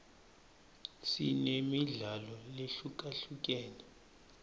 sinemidlalo lehlukahlukene